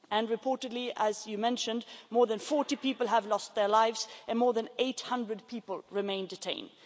Reportedly, as you mentioned, more than 40 people have lost their lives and more than 800 people remain detained.